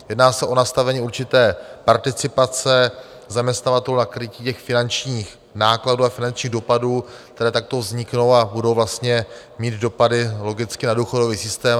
Jedná se o nastavení určité participace zaměstnavatelů na krytí těch finančních nákladů a finančních dopadů, které takto vzniknou a budou vlastně mít dopady logicky na důchodový systém.